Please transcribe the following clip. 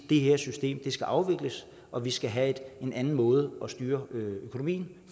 det her system skal afvikles og vi skal have en anden måde at styre økonomien